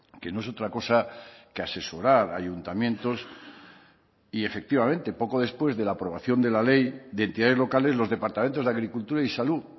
que no es otra cosa que asesorar a ayuntamientos y efectivamente poco después de la aprobación de la ley de entidades locales los departamentos de agricultura y salud